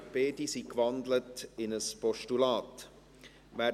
Beide sind in ein Postulat gewandelt.